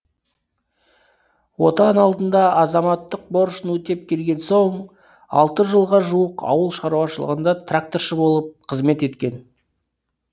отан алдында азаматтық борышын өтеп келген соң алты жылға жуық ауыл шаруашылығында тракторшы болып қызмет еткен